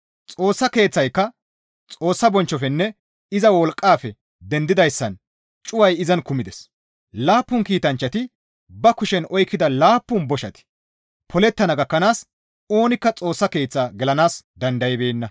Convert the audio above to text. Xoossa Keeththayka Xoossa bonchchofenne iza wolqqafe dendidayssan cuway izan kumides; laappun kiitanchchati ba kushen oykkida laappun boshati polettana gakkanaas oonikka Xoossa Keeththaa gelanaas dandaybeenna.